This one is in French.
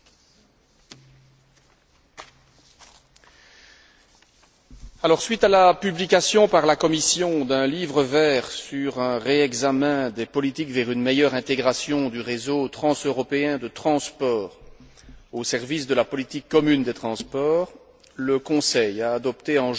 Suite à la publication, par la Commission, d'un livre vert sur un réexamen des politiques vers une meilleure intégration du réseau transeuropéen de transports au service de la politique commune des transports, le Conseil a adopté, en juin 2009, des conclusions dans lesquelles il a accueilli favorablement ce livre vert